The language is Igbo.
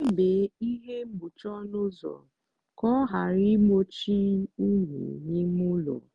debe ihe mgbochi ọnụ ụzọ ka ọ ghara igbochi unyi n'ime ụlọ.